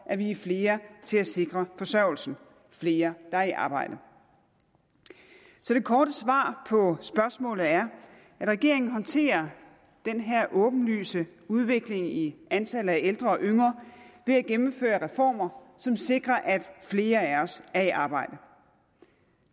at vi er flere til at sikre forsørgelsen flere der er i arbejde så det korte svar på spørgsmålet er at regeringen håndterer den her åbenlyse udvikling i antallet af ældre og yngre ved at gennemføre reformer som sikrer at flere af os er i arbejde